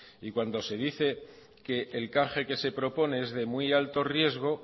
y cuando se dice que el canje que se propone es de muy alto riesgo